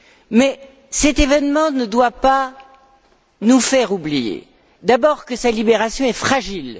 Mais cet événement ne doit pas nous faire oublier d'abord que sa libération est fragile.